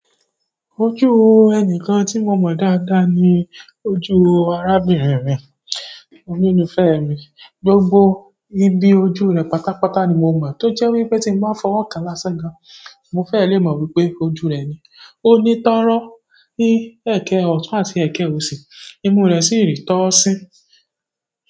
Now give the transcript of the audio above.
Ojú ẹnikan tí mo mọ̀ dáadáa ni ojú arábirin mi, ololúfé mi. Gbogbo ibi ojú rẹ̀ pátápátá ni mo mọ̀ tó jẹ́ wípé tí mo bá fọwọ́ kan lásán gan, mo fẹ́ lè mọ̀ wípé ojú rẹ̀ ni. O ní tọ́rọ́ ní ẹ̀kẹ ọ̀tún àti ẹ̀kẹ òsì, imú rẹ̀ sì rí tọ́ sí.